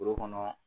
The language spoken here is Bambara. Foro kɔnɔ